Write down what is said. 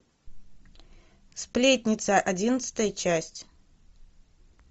сплетница одиннадцатая часть